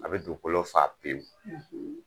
A bɛ dukolo fa pewu,